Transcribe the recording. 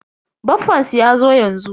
Baffansu yazo yanzu.